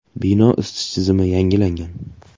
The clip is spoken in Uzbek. Bino isitish tizimi yangilangan.